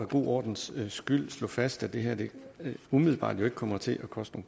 god ordens skyld slå fast at det her jo umiddelbart ikke kommer til at koste